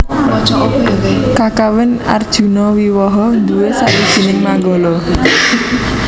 Kakawin Arjunawiwaha nduwé sawijining manggala